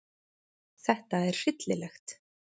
Þetta er hryllilegt.